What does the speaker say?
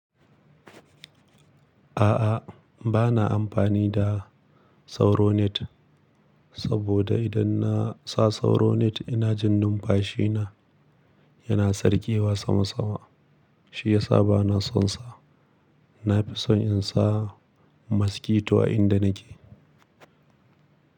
A'a, bana amfani da Sauro net saboda idan na sa Sauronet ina jin numfashi na yana sarƙewa sama sama, shi yasa bana son sa. Na fi son in sa maski to a inda nake.